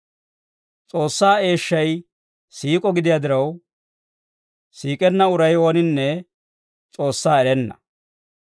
S'oossaa eeshshay siik'o gidiyaa diraw, siik'enna uray ooninne S'oossaa erenna.